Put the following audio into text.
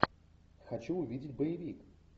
хочу увидеть боевик